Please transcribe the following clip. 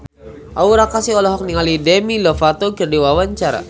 Aura Kasih olohok ningali Demi Lovato keur diwawancara